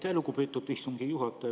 Aitäh, lugupeetud istungi juhataja!